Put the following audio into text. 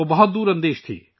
وہ بے حد دور اندیش تھا